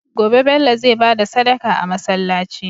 Gobe Bello zai bada Sadaka a masalaci